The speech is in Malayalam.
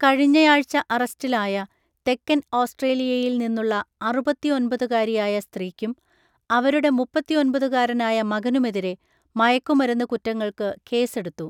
കഴിഞ്ഞയാഴ്ച അറസ്റ്റിലായ തെക്കൻ ഓസ്‌ട്രേലിയയിൽ നിന്നുള്ള അറുപത്തിഒന്‍പതുകാരിയായ സ്ത്രീക്കും അവരുടെ മുപ്പത്തിഒന്‍പതുകാരനായ മകനുമെതിരെ മയക്കുമരുന്ന് കുറ്റങ്ങൾക്ക് കേസെടുത്തു.